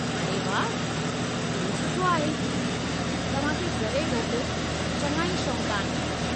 अड़े वाह, इहो सुठो आहे, तव्हां खे ज़रे घटि चङा ई शौक़ आहिनि।